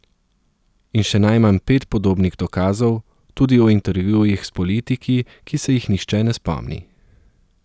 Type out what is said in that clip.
In še najmanj pet podobnih dokazov, tudi o intervjujih s politiki, ki se jih nihče ne spomni.